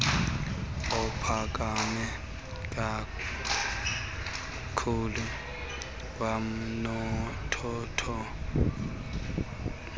ophakame kakhlulu kwanothotho